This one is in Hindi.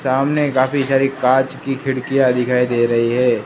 सामने काफी सारी कांच की खिड़कियां दिखाई दे रही है।